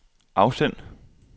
afsend